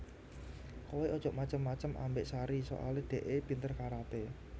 Kowe ojok macem macem ambek Sari soale dekke pinter karate